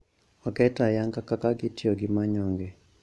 Oket ayanga kaka gitiyo gi manyonge